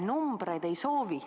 Numbreid ma ei soovi.